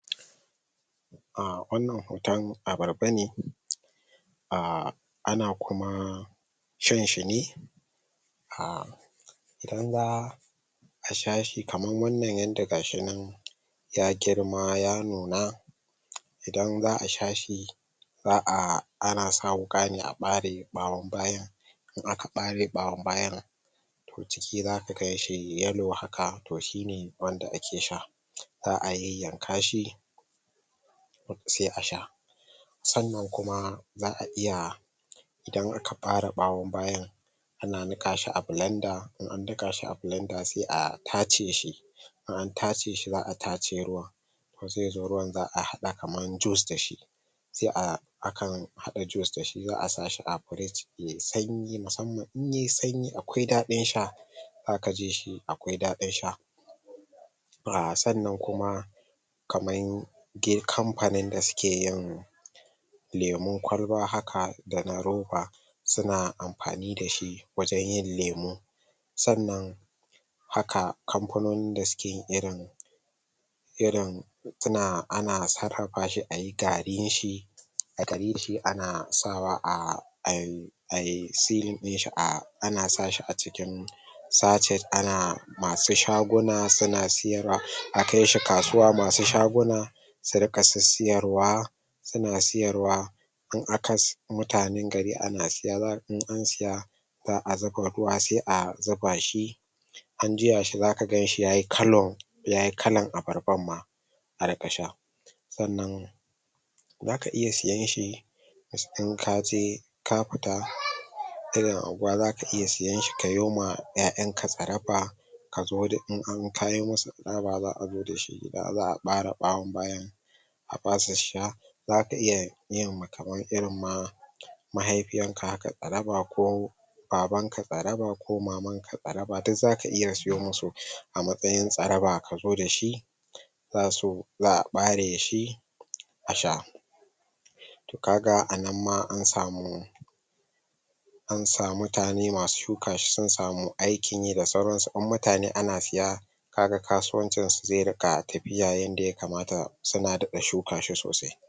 um wannan huton abarbane ahh ana kuma shan shi ne ah ka sha shi kaman wanna yanda ga shi nan ya girma ya nuna idan zaka sha shi za'a ana sa wuka ne a bare bawon bayan in aka abre bawon bayan to ciki zaka ganshi yellow haka to shi ne wanda ake sha za''a yanyanka shi sai a sha sannan kuma za'a iya idan aka bare bawon bayan ana nika shi a blanda, idan an anika shi a blender sai a tace shi in an tace shi za'a tace zaizo ruwan za'a hada shi kaman jus kenan sai a akan hada jus dashi asa a fridge yay sanyi, musamman in yayi sanyi akwai dadin sha zaka ji shi akwai dadin sha ahh sannan kuma kaman ge kamfanin da suke yin lemun kwalba haka dana ruba suna amfani dashi wajen yin lemu sannan haka kamfanonin da suke irin irin suna ana sarrafaf shi ayi garinshi garin shi ana sawa ah ah... ayi selin dinshi ana sawa a cikin sacet ana masu shaguna suna siyarwa, akai shi kasuwa masu shaguna suna su rika sisiyarwa suna siyarwa mutanen gari suna sisiya zaka ga in an siya za'a zuba ruwa sai a zuba shi in an juya shi saka gan shi yayi colour yayi kalan abarbarma a rika sha sannan zaka iya siyanshi in kaje ka fita irin anguwa ka fita, zaka iya siyanshi kayo ma yayan ka tsaraba kazo da in ka musu tsaraba za'a bare bawon bayan a basu su sha zaka iya yin kaman irin ma mahafiyan ka tsaraba ko babanka tsaraba ko maman ka tsaraba, dik zaka iya siyo musu a matsayin kazo dashi basu za'a bare shi a sha kaga anan ma an samu an sama mutane masu shuka shi da sauran su sun samu aikin yi, in mutane suna siya kaga kasuwancin su zai rika tafiya yanda ya kamata suna dada shuka shi sosai.